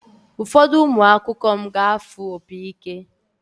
Ụfọdụ ụmụ akwụkwọ m ga-afụ opi ike.